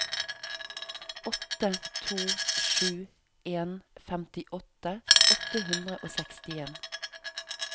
åtte to sju en femtiåtte åtte hundre og sekstien